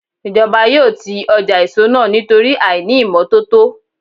Ìjọba yóò ti ọjà èso náà nítorí àìní ìmọ́tótó.